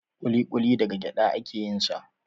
Kuli-kuli daga gyada a ke yin sa